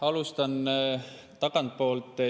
Alustan tagantpoolt.